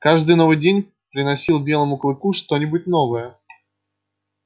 каждый новый день приносил белому клыку что нибудь новое